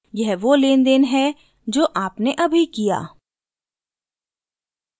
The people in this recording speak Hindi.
यह वो लेनदेन है जो आपने अभी किया